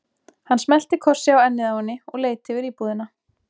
Hann smellti kossi á ennið á henni og leit yfir íbúðina.